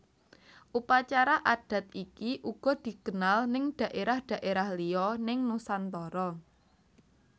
Upacara adat iki uga dikenal neng dhaerah dhaerah liya neng Nusantara